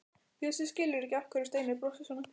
Bjössi skilur ekki af hverju Steini brosir svona.